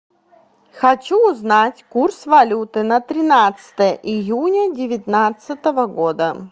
хочу узнать курс валюты на тринадцатое июня девятнадцатого года